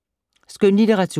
Skønlitteratur